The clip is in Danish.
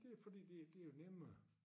Det jo fordi det det jo nemmere